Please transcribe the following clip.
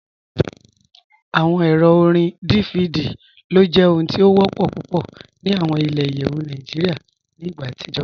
Awọn èrò orín DVD ló jẹ ohun tí o wọ́pọ̀ púpọ̀ ní awọn ilẹ̀-ìyẹwu Nàìjíríà ni igbà atijọ̀.